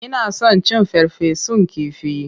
Ina son cin farfesun kifi.